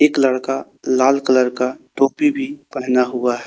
एक लड़का लाल कलर का टोपी भी पहना हुआ ह--